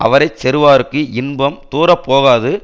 அவரை செறுவார்க்கு இன்பம் தூரப்போகாது